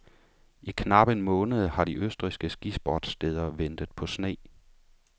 I knap en måned har de østrigske skisportssteder ventet på sne.